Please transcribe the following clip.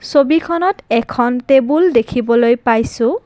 ছবিখনত এখন টেবুল দেখিবলৈ পাইছোঁ।